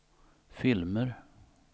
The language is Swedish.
filmer